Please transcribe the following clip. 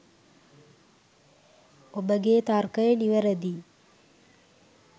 ඔබගේ තර්කය නිවැරදියි.